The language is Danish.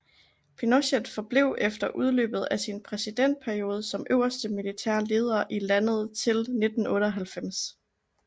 Pinochet forblev efter udløbet af sin præsidentperiode som øverste militære leder i landet til 1998